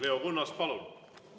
Leo Kunnas, palun!